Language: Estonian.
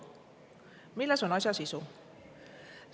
Milles on asja sisu?